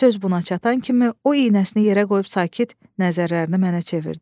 Söz buna çatan kimi o iynəsini yerə qoyub sakit nəzərlərini mənə çevirdi.